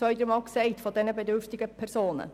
Dies haben wir jetzt schon zwei- oder dreimal gesagt.